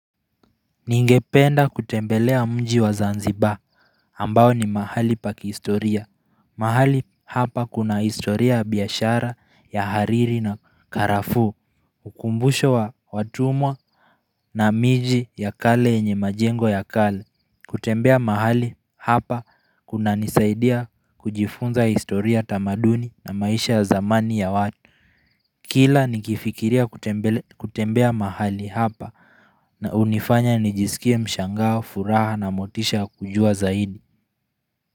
Ningependa kutembelea mji wa zanziba ambao ni mahali pa kihistoria mahali hapa kuna historia ya biashara ya hariri na karafu ukumbusho wa watumwa na miji ya kale yenye majengo ya kale kutembea mahali hapa kunanisaidia kujifunza historia tamaduni na maisha ya zamani ya watu Kila nikifikiria kutembea mahali hapa na hunifanya nijisikie mshangao furaha na motisha ya kujua zaidi.